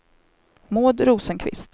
Maud Rosenqvist